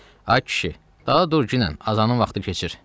"Ay kişi, daha dur ginən, azanın vaxtı keçir."